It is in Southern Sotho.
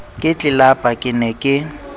ka tlelapa ke ne ke